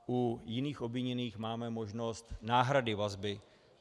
U jiných obviněných máme možnost náhrady vazby.